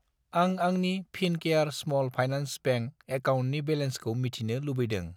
आं आंनि Fincare small finance bank एकाउन्टनि बेलेन्सखौ मिथिनो लुबैदों?